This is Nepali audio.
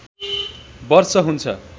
वर्ष हुन्छ